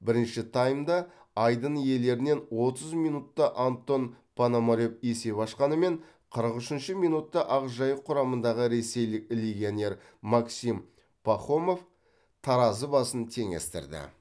бірінші таймда айдын иелерінен отыз минутта антон пономарев есеп ашқанымен қырық үшінші минутта ақжайық құрамындағы ресейлік легионер максим пахомов таразы басын теңестірді